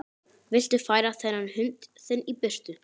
Viltu færa þennan hund þinn í burtu!